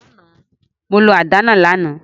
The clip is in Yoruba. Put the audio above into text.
Mo lo àdá náa làná